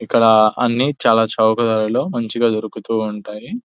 ఇక్కడ అన్ని చాలా చౌక ధరలో మంచిగా దొరుకుతూ ఉంటాయి.